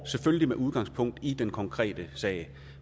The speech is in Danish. selvfølgelig udgangspunkt i den konkrete sag